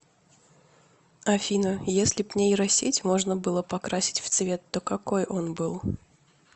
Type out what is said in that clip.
афина еслиб нейросеть можно было покрасить в цвет то какой он был